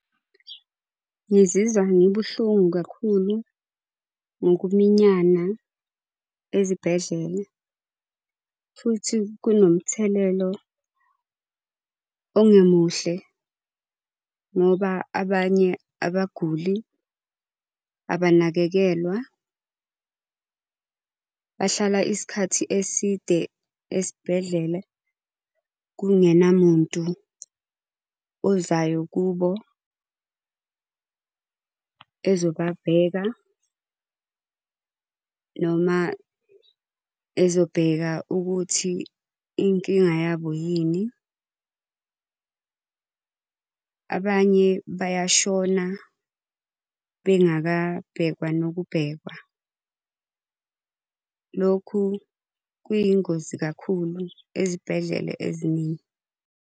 Ngizizwa ngibuhlungu kakhulu ngokuminyana ezibhedlela, futhi kunomthelelo ongemuhle ngoba abanye abaguli abanakekelwa. Bahlala isikhathi eside esibhedlela kungenamuntu ozayo kubo ezobabheka noma ezobheka ukuthi inkinga yabo yini. Abanye bayashona bengabhekwa nokubhekwa. Lokhu kuyingozi kakhulu ezibhedlela eziningi.